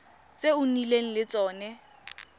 tse o nnileng le tsone